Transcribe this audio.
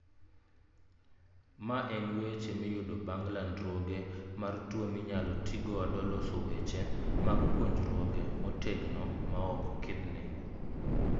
Ma en weche miyudo bang ' landruoge mar tuo minyalo ti godo loso weche mag puonjruoge motegno ma ok ngikni